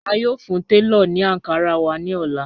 A yóò fún tẹlọ̀ ní Ankara wà ní ọ̀lá.